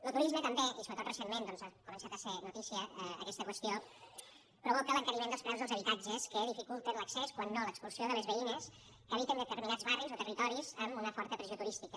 lo turisme també i sobretot recentment doncs ha començat a ser notícia aquesta qüestió provoca l’encariment dels preus dels habitatges que dificulten l’accés quan no l’expulsió de les veïnes que habiten determinats barris o territoris amb una forta pressió turística